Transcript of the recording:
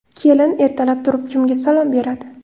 Kelin ertalab turib kimga salom beradi?